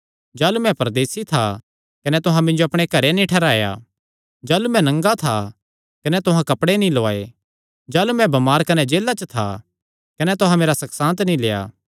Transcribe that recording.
जाह़लू मैं परदेसी था कने तुहां मिन्जो अपणे घरैं नीं ठैहराया जाह़लू मैं नंगा था कने तुहां कपड़े नीं लौआये जाह़लू मैं बमार कने जेला च था कने तुहां मेरा सकशांत नीं लेआ